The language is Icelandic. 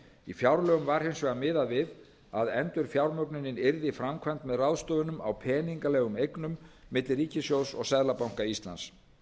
í fjárlögum var hins vegar miðað við að endurfjármögnunin yrði framkvæmd með ráðstöfunum á peningalegum eignum milli ríkissjóðs og seðlabanka íslands